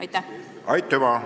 Aitüma!